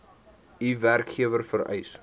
u werkgewer vereis